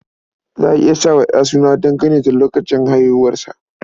Za a iya sa wa ɗa suna dangane da lokacin haihuwarsa.